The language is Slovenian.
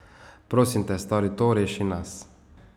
Prosim te, stori to, reši nas.